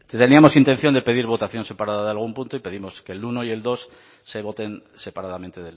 teníamos intención de pedir votación separada de algún punto y pedimos que el uno y el dos se voten separadamente